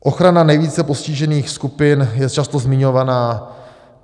Ochrana nejvíce postižených skupin je často zmiňovaná.